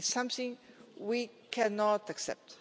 This is something we cannot accept.